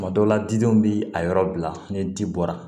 Tuma dɔw la didenw bi a yɔrɔ bila ni di bɔra